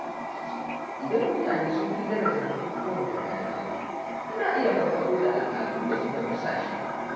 Idan mutane sun fi daraja bukukkuwan gargajiya, ana iya farfaɗo da al’adun da suka dusashe.